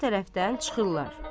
Sağ tərəfdən çıxırlar.